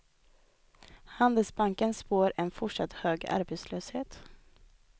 Handelsbanken spår en fortsatt hög arbetslöshet.